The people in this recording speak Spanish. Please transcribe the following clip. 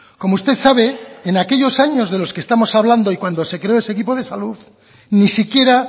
como usted sabe en aquellos años de los que estamos hablando y cuando se creó ese equipo de salud ni siquiera